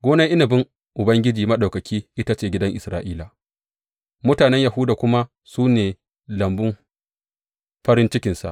Gonar inabin Ubangiji Maɗaukaki ita ce gidan Isra’ila, mutanen Yahuda kuma su ne lambun farin cikinsa.